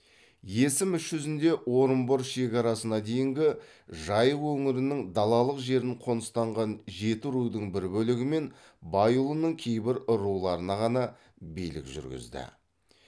есім іс жүзінде орынбор шекарасына дейінгі жайық өңірінің далалық жерін қоныстанған жетірудың бір бөлігі мен байұлының кейбір руларына ғана билік жүргізді